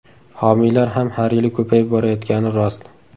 Homiylar ham har yili ko‘payib borayotgani rost.